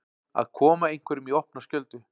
Að koma einhverjum í opna skjöldu